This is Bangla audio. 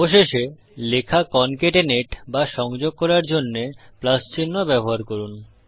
অবশেষে লেখা কন্ক্যাটিনেট বা সংযোগ করার জন্যে চিহ্ন ব্যবহার করুন